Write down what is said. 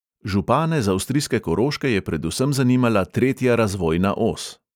Župane z avstrijske koroške je predvsem zanimala tretja razvojna os.